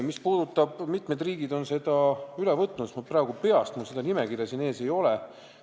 Mis puudutab seda, kui mitu riiki on direktiivi üle võtnud, siis ma praegu peast ei tea, mul seda nimekirja ees ei ole.